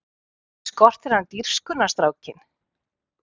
Ekki skortir hann dirfskuna strákinn!